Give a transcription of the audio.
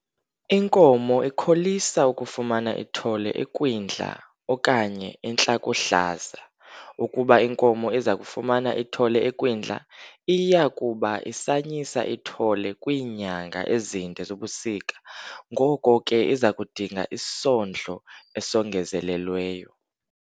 Inkomo ikholisa ukufumana ithole ekwindla okanye entlakohlaza. Ukuba inkomo iza kufumana ithole ekwindla, iya kuba isanyisa ithole kwiinyanga ezinde zobusika, ngoko ke iza kudinga isondlo esongezelelweyo.